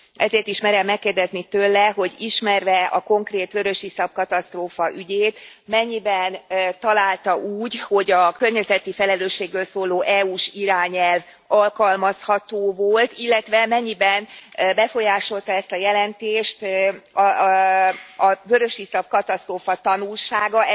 Ezért is merem megkérdezni tőle, hogy ismerve a konkrét vörösiszap katasztrófa ügyét, mennyiben találta úgy, hogy a környezeti felelősségről szóló EU s irányelv alkalmazható volt, illetve mennyiben befolyásolta ezt a jelentést a vörösiszap katasztrófa tanulsága?